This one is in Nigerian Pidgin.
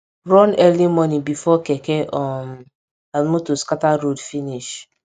run early morning before keke um and motor scatter road finish